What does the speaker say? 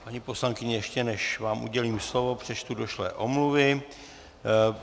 Paní poslankyně, ještě než vám udělím slovo, přečtu došlé omluvy.